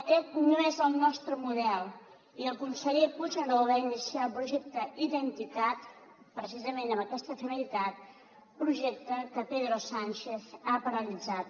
aquest no és el nostre model i el conseller puigneró va iniciar el projecte identicat precisament amb aquesta finalitat projecte que pedro sánchez ha paralitzat